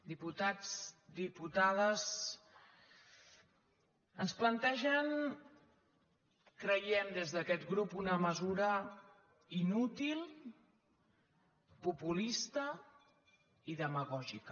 diputats diputades ens plantegen creiem des d’aquest grup una mesura inútil populista i demagògica